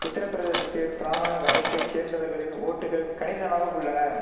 உத்திரப்பிரதேசத்தி பிராமண வகுப்பை சேர்ந்தவர்களின் ஓட்டுகள் கணிசமாக உள்ளன